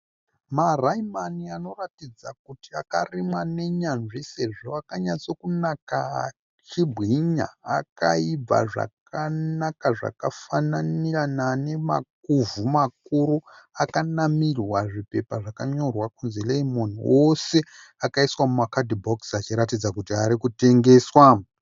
Maraimani anoratidza kuti akarimwa nenyanzvi sezvo akanyatso kunaka achibwinya akaibva zvakanaka zvakafananirana nemakuvhu makuru akanamirwa muzvipepa zvakanyorwa kunzi Lemon ose akaiswa mumakatibhokisi achiratidza kuti ari kutengeswa.